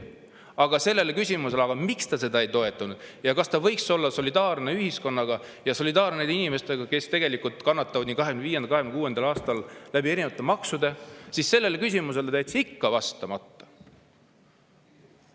Aga sellele küsimusele, miks ta seda ei toetanud ja kas ta võiks olla solidaarne ühiskonna ja nende inimestega, kes tegelikult kannatavad nii 2025. kui ka 2026. aastal erinevate maksude tõttu, jättis ta ikka vastamata.